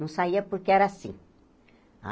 Não saía porque era assim. Ah